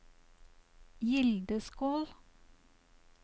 Gildeskål